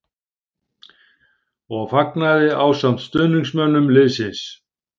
. og fagnaði ásamt stuðningsmönnum liðsins.